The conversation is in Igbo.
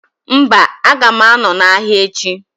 Mba, aga ma anọ na ahịa echi